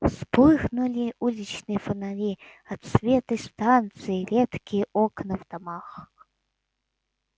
вспыхнули уличные фонари отсветы станции редкие окна в домах